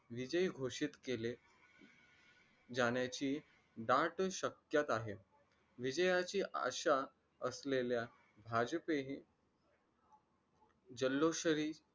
विजयी घोषित केले जाण्याची दाट शक्यता आहे विजयाची आशा असलेल्या भाजपेही जल्लोशरी